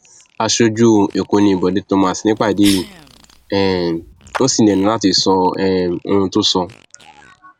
aṣojú ẹkọ ni bọde thomas nípàdé yìí um ò sì lẹnu láti sọ um ohun tó sọ